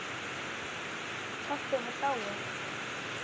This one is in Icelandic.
Pabbi var dáinn.